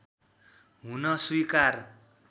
हुन स्वीकार